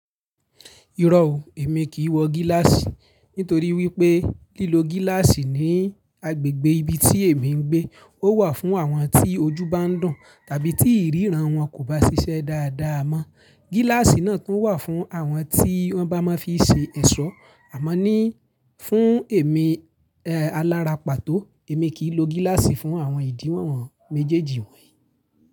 Irọ́ o, èmi kì í wọ gíláàsì. Nítorí wípé lílo gíláàsì ní agbègbè ibi tí èmi ń gbé, ó wà fún àwọn tí ojú bá ń dùn, tàbí tí ìríran wọn kò bá ṣiṣẹ́ dáadáa mọ́. Gíláàsì náà tún wà fún àwọn tí wọ́n bá máa fi ṣe ẹ̀ṣọ́. Àmọ́ ni fún èmi, eh, alára pàtó, èmi kì í lo gíláàsì fún àwọn ìdíwọ̀n méjèèjì wọ̀nyí.